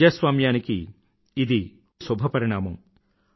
ప్రజాస్వామ్యానికి ఇది ఒక మంచి శుభపరిణామం